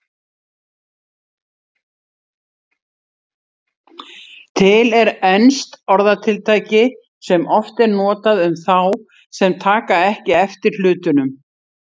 Til er enskt orðatiltæki sem oft er notað um þá sem taka ekki eftir hlutunum.